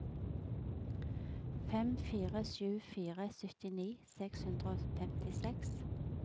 fem fire sju fire syttini seks hundre og femtiseks